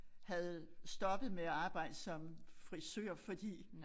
Havde stoppet med at arbejde som frisør fordi